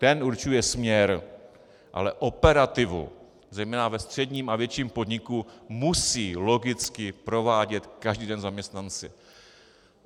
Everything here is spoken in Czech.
Ten určuje směr, ale operativu, zejména ve středním a větším podniku, musí logicky provádět každý den zaměstnanci.